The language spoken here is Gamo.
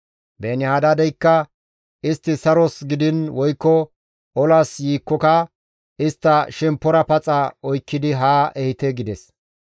Beeni-Hadaadeykka, «Istti saros gidiin woykko olas yiikkoka istta shemppora paxa oykkidi haa ehite» gides.